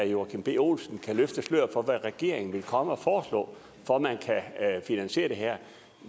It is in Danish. joachim b olsen kan løfte sløret for hvad regeringen vil komme og foreslå for at man kan finansiere det her